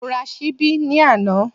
Mo ra ṣíbí ní àná